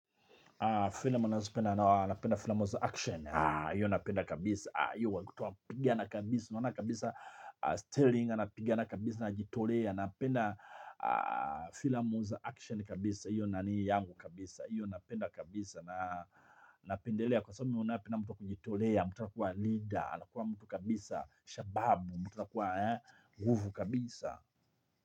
Fila mu za action, iyo napenda kabisa iyo wakutuwa pigana kabisa. Iyo wakutuwa pigana kabisa. Anapigana kabisa ana jitolea. Iyo napenda fila mu za action kabisa. Iyo nani yangu kabisa. Iyo napenda kabisa na napendelea kwa sababu napenda mtu wa kujitolea. Mtu anakuwa leader. Anakuwa mtu kabisa. Shababu. Mtu na kuwa nguvu kabisa.